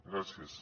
gràcies